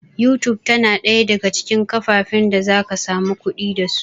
YouTube tana ɗaya daga cikin kafafen da zaka samu kuɗi da su